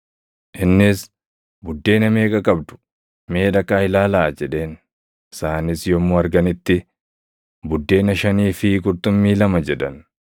Innis, “Buddeena meeqa qabdu? Mee dhaqaa ilaalaa!” jedheen. Isaanis yommuu arganitti, “Buddeena shanii fi qurxummii lama” jedhan.